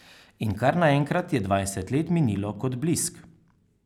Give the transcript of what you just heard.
In kar naenkrat je dvajset let minilo kot blisk.